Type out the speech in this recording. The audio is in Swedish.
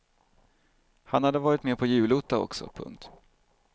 Han hade varit med på julotta också. punkt